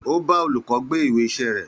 Ó bá òlúkõ gbé ìwé ìsé ré